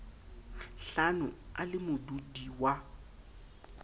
hlano a le modudi wa